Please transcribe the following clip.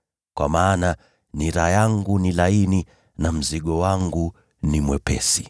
Kwa maana nira yangu ni laini na mzigo wangu ni mwepesi.”